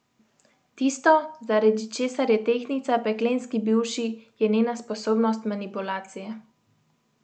Tisto, zaradi česar je tehtnica peklenski bivši, je njena sposobnost manipulacije.